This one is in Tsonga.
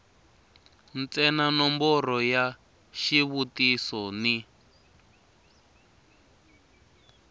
ntsena nomboro ya xivutiso ni